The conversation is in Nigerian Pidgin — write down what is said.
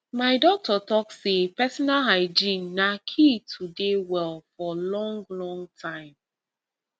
my doctor talk say personal hygiene na key to dey well for long long time